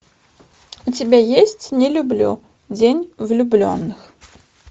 у тебя есть не люблю день влюбленных